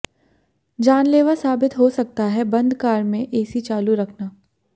जानलेवा साबित हो सकता है बंद कार में एसी चालू रखना